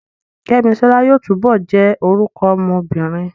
Kẹ́misọ́lá yóò túbọ̀ jẹ́ orúkọ ọmọ obìnrin